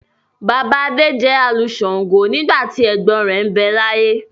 Bàbá Adé jẹ́ alu shàǹgo nígbà tí ẹ̀gbọ́n rẹ̀ ń bẹ láyé.